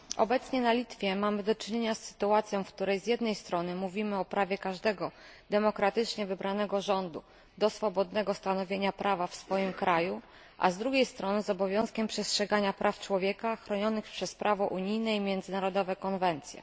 Obecnie na Litwie mamy do czynienia z sytuacją, w której z jednej strony mówimy o prawie każdego demokratycznie wybranego rządu do swobodnego stanowienia prawa w swoim kraju, a z drugiej strony z obowiązkiem przestrzegania praw człowieka chronionych przez prawo unijne i międzynarodowe konwencje.